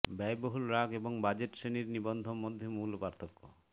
ব্যয়বহুল রাগ এবং বাজেট শ্রেণীর নিবন্ধ মধ্যে মূল পার্থক্য